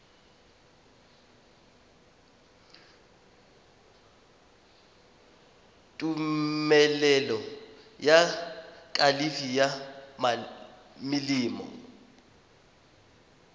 tumelelo ya kalafi ya melemo